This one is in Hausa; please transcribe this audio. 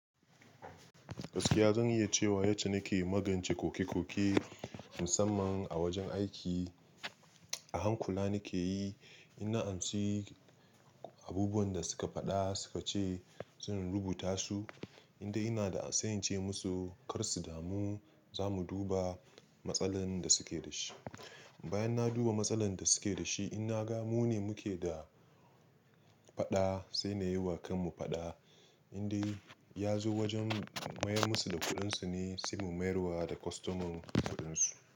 Gaskiya zan iya cewa yace nake magance koke-koke, musamman a wajen aiki. A hankula nike yi, idan an ci abubuwan da suka faɗa suka ce zan rubuta su, inda ina da an sanye ce musu kar su damu za mu duba matsalar da suke da shi. Bayan na duba matsalar da suke da shi, ina ga mu ne muke da faɗa, sai na yi wa kanmu faɗa, inda ya zo wajen mayar musu da kuɗin su ne, sai mu mayar wa da kostoman mu kuɗin su.